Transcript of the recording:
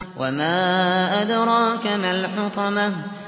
وَمَا أَدْرَاكَ مَا الْحُطَمَةُ